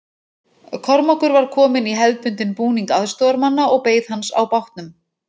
Kormákur var kominn í hefðbundinn búning aðstoðarmanna og beið hans á bátnum.